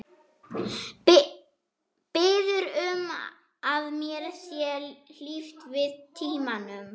Biður um að mér sé hlíft við tímanum.